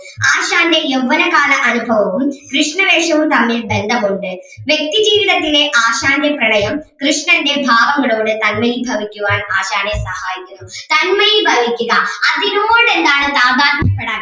ആശാന്റെ യൗവ്വനകാല അനുഭവവും കൃഷ്ണവേഷവും തമ്മിൽ ബന്ധമുണ്ട് വ്യക്തിജീവിതത്തിലെ ആശാന്റെ പ്രണയം കൃഷ്ണൻ്റെ ഭാവങ്ങളോട് തന്മയീഭവിക്കുവാൻ ആശാനേ സഹായിച്ചിരുന്നു തന്മയീഭവിക്കുക അതിനോട് എന്താണ് സാമാന്യപ്പെടാൻ